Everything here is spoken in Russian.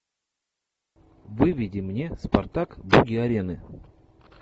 выведи мне спартак боги арены